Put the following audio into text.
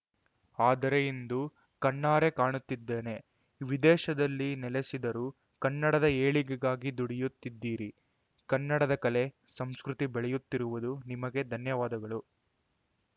ಆದರೆ ಇಂದು ಕಣ್ಣಾರೆ ಕಾಣುತ್ತಿದ್ದೇನೆ ವಿದೇಶದಲ್ಲಿ ನೆಲೆಸಿದರೂ ಕನ್ನಡದ ಏಳಿಗೆಗಾಗಿ ದುಡಿಯುತ್ತಿದ್ದೀರಿ ಕನ್ನಡದ ಕಲೆ ಸಂಸ್ಕೃತಿ ಬೆಳೆಯುತ್ತಿರುವುದು ನಿಮಗೆ ಧನ್ಯವಾದಗಳು